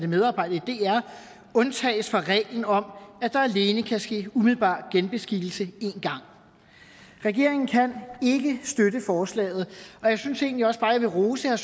medarbejdere i dr undtages fra reglen om at der alene kan ske umiddelbar genbeskikkelse én gang regeringen kan ikke støtte forslaget og jeg synes egentlig også bare jeg vil rose herre